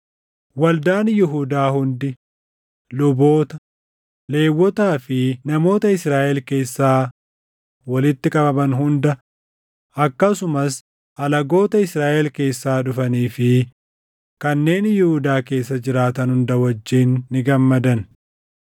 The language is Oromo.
Waldaan Yihuudaa hundi, luboota, Lewwotaa fi namoota Israaʼel keessaa walitti qabaman hunda, akkasumas alagoota Israaʼel keessaa dhufanii fi kanneen Yihuudaa keessa jiraatan hunda wajjin ni gammadan.